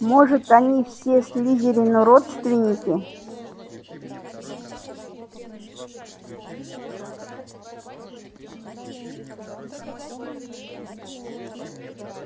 может они все слизерину родственники